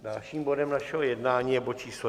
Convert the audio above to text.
Dalším bodem našeho jednání je bod číslo